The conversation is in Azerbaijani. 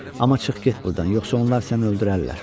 Amma çıx get burdan, yoxsa onlar səni öldürərlər.